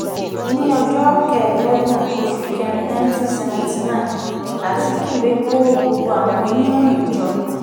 ní ọjọ́ kẹẹ̀ẹ́dọ́gbọ̀n oṣù kẹrin nineteen seventy nine azikiwe kó gbogbo àwọn oníròyìn jọ